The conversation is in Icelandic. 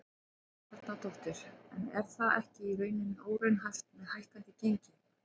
Helga Arnardóttir: En er það ekki í rauninni óraunhæft með hækkandi gengi?